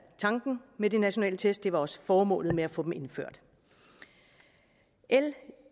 tanken med de nationale test det var også formålet med at få dem indført l